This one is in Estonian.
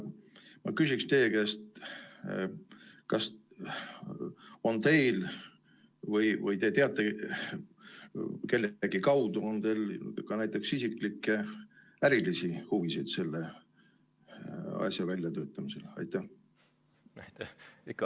Ma küsiksin teie käest nii: kas teil või kellegi kaudu on ka näiteks isiklikke ärilisi huvisid selle asja väljatöötamisel?